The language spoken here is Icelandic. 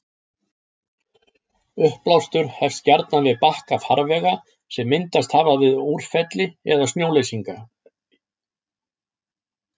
Uppblástur hefst gjarnan við bakka farvega sem myndast hafa við úrfelli eða snjóleysingar.